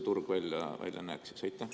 Kuidas see turg välja näeks?